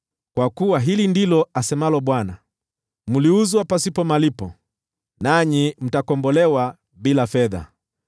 Kwa kuwa hili ndilo asemalo Bwana : “Mliuzwa pasipo malipo, nanyi mtakombolewa bila fedha.”